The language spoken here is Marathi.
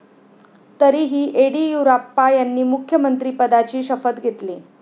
तरीही येडियुराप्पा यांनी मुख्यमंत्रिपदाची शपथ घेतली.